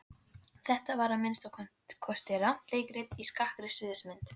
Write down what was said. Vanur minni heimabyggð, áttaviss og andstuttur á undan hallanum.